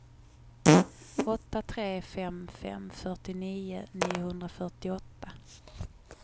åtta tre fem fem fyrtionio niohundrafyrtioåtta